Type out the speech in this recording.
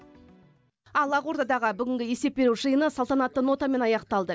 ал ақордадағы бүгінгі есеп беру жиыны салтанатты нотамен аяқталды